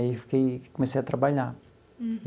Aí fiquei comecei a trabalhar.